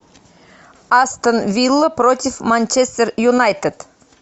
астон вилла против манчестер юнайтед